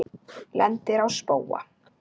Lendir á spóa.